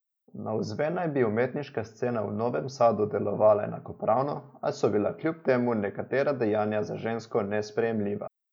Navzven naj bi umetniška scena v Novem Sadu delovala enakopravno, a so bila kljub temu nekatera dejanja za žensko nesprejemljiva.